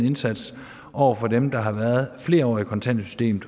indsats over for dem der har været flere år i kontanthjælpssystemet